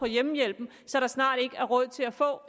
hjemmehjælpen så der snart ikke er råd til at få